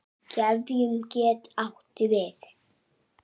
Gefjun getur átt við